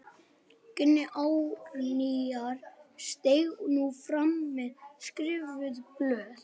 Gunni Árnýjar steig nú fram með skrifuð blöð.